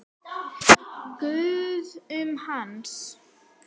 Það gustaði um hann.